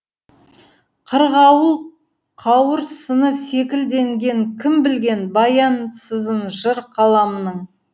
қырғауыл қауырсыны секілденген кім білген баянсызын жыр қаламның